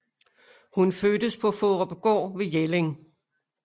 Hun fødtes på Faarupgaard ved Jelling